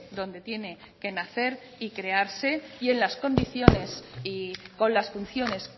donde tiene que nacer y crearse en las condiciones y con las funciones